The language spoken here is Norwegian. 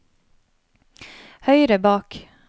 høyre bak